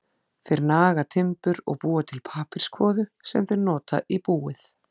Þeir naga timbur og búa til pappírskvoðu sem þeir nota í búið.